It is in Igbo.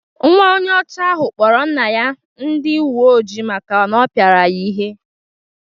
Nwa onye ọcha ahụ kpọrọ nna ya ndi uweojii maka na ọ pịara ya ihe.